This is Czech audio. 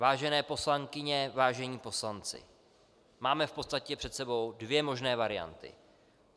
Vážené poslankyně, vážení poslanci, máme v podstatě před sebou dvě možné varianty.